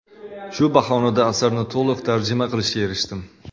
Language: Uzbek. Shu bahonada asarni to‘liq tarjima qilishga erishdim.